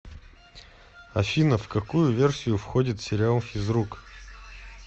афина в какую версию входит сериал физрук